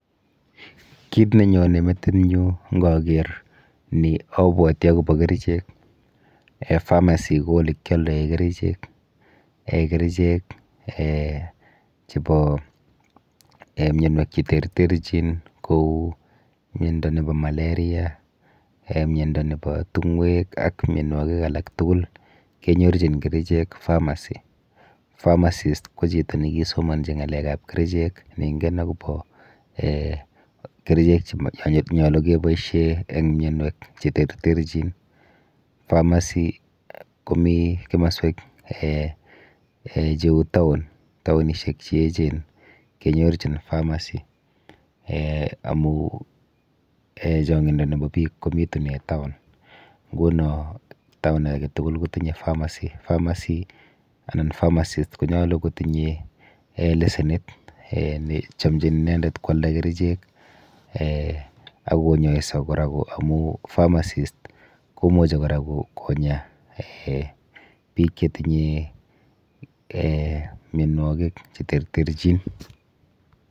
Kit nenyone metinyu nkoker ni abwoti akopo kerichek. um Pharmacy ko olekyoldoe kerchek. [um]Kerchek [um]chepo mionwek cheterterchin kou miendo nepo malaria] um miendo nepo tung'wek ak mienwokik alak tukul kenyorchin kerechek pharmacy. Pharmasist ko chito nekisomonji ng'alekap kerichek neingen akopo um keichek chenyolu kepoishe emg mienwek cheterterchin. Pharmacy komi simoswek um cheu town taonishek cheechen kenyorchin pharmacy [um]amu um chong'indo nepo biik komitune town nguno town aketukul kotindoi pharmacy pharmacy anan pharmasist konyolu kotinye um lesenit nechomchin inendet kwalda kerichek ak konyoiso kora amu pharmasist komuchi kora konya biik chetinye mienwokik cheterterchin.